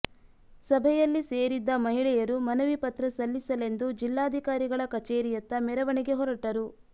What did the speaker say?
ಸಭೆಯಲ್ಲಿ ಸೇರಿದ್ದ ಮಹಿಳೆಯರು ಮನವಿ ಪತ್ರ ಸಲ್ಲಿಸಲೆಂದು ಜಿಲ್ಲಾಧಿಕಾರಿಗಳ ಕಚೇರಿಯತ್ತ ಮೆರವಣಿಗೆ ಹೊರಟರು